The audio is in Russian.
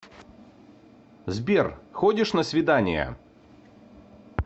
сбер ходишь на свидания